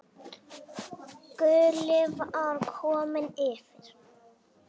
Gulli var kominn yfir.